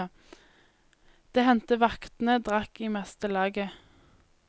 Det hendte vaktene drakk i meste laget.